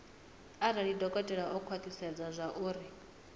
arali dokotela o khwathisedza zwauri